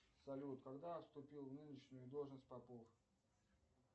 салют когда вступил в нынешнюю должность попов